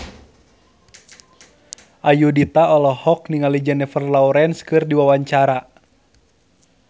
Ayudhita olohok ningali Jennifer Lawrence keur diwawancara